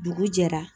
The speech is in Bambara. Dugu jɛra